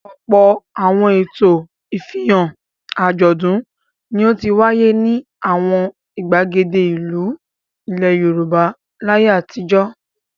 Ọ̀pọ̀ àwọn ètò, ìfihàn, àjọ̀dún ni ó ti wáyé ní àwọn ìgbàgede ìlú ilẹ̀ Yorùbá láyé àtijọ́.